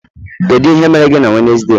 kedu ihe mere gị na Wednesday?